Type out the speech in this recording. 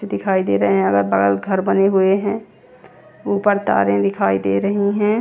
दिखाई दे रहे हैं अगर बगल घर बने हुए हैं ऊपर तारे दिखाई दे रही हैं।